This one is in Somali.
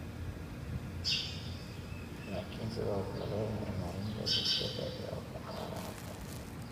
laakiin sidoo kale horumarinta bulshada iyo dhaqaalaha dalka